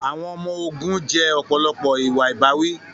Àwọn ọmọ ogun jẹ́ ọ̀pọ̀lọpọ̀ ìwà ìbáwí.